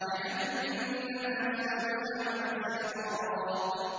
جَهَنَّمَ يَصْلَوْنَهَا ۖ وَبِئْسَ الْقَرَارُ